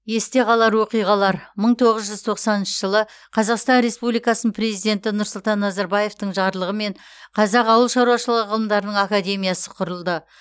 есте қалар оқиғалар мың тоғыз жүз тоқсаныншы жылы қазақстан республикасының президенті нұрсұлтан назарбаевтың жарлығымен қазақ ауыл шаруашылығы ғылымдарының академиясы құрылды